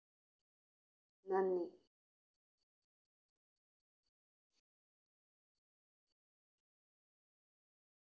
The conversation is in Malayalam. നന്ദി.